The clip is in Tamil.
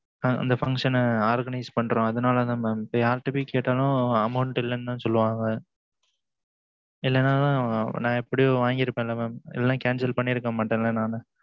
ஆஹ் அந்த function ன Organised பண்ணுறோம் அதுனால தான் mam இப்பம் யாருட்டப்போய் கேட்டாலும் amount இல்லனு தான் சொல்லுவாங்க இல்லனா நா எப்படியும் வாங்கி இருபண்ல mam நான் இல்லனா cancel பண்ணி இருக்கமாடேன் ல நானு